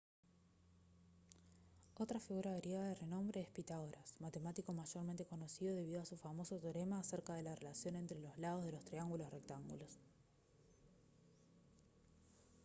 otra figura griega de renombre es pitágoras matemático mayormente conocido debido a su famoso teorema acerca de la relación entre los lados de los triángulos rectángulos